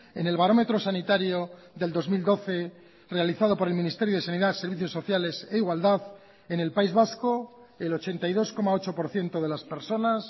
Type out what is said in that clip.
en el barómetro sanitario del dos mil doce realizado por el ministerio de sanidad servicios sociales e igualdad en el país vasco el ochenta y dos coma ocho por ciento de las personas